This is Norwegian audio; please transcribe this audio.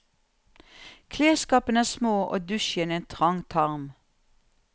Klesskapene er små og dusjen en trang tarm.